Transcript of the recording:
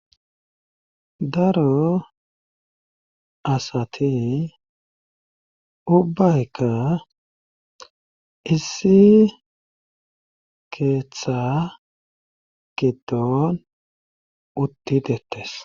daro asati ubbayka issi keeththa gidon utti dettes